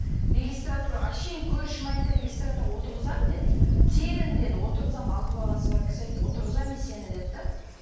регистратураға әшейін көршім айтты регистратураға отырғызам деді тегін деді отырғызамын алты баласы бар кісі айтты отырғызамын мен сені деді де